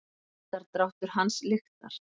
Andardráttur hans lyktar.